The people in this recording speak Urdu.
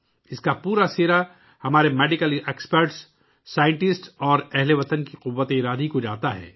اس کا پورا سہرا ہمارے طبی ماہرین، سائنسدانوں اور اہل وطن کی قوت ارادی کو جاتا ہے